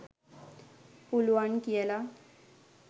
පුළුවන් කියලා.